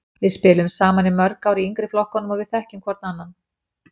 Við spiluðum saman í mörg ár í yngri flokkunum og við þekkjum hvorn annan.